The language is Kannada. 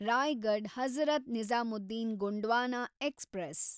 ರಾಯಗಡ್ ಹಜರತ್ ನಿಜಾಮುದ್ದೀನ್ ಗೊಂಡ್ವಾನಾ ಎಕ್ಸ್‌ಪ್ರೆಸ್